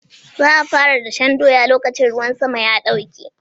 Za a fara dashen doya lokacin ruwan sama ya ɗauke.